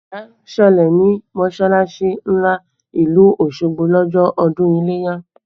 Ìjà ṣẹlẹ̀ ní mọsalasi ńlá ìlú Osogbo lọ́jọ́ ọdún ileya